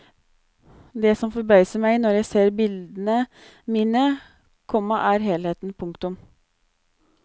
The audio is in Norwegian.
Det som forbauser meg når jeg ser bildene mine, komma er helheten. punktum